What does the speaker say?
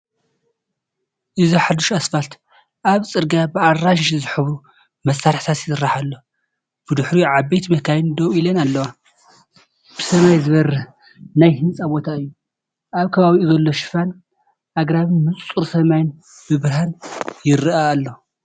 እዚ ሓድሽ ኣስፋልት ኣብቲ ጽርግያ ብኣራንሺ ዝሕብሩ መሳርሒታት ይስራሕ ኣሎ፤ ብድሕሪኡ ዓበይቲ መካይን ደው ኢለን ኣለዋ። ብሰማይ ዝበርህ ናይ ህንጻ ቦታ'ዩ። ኣብ ከባቢኡ ዘሎ ሽፋን ኣግራብን ንጹር ሰማይን ብብርሃን ይርአ ኣሎ።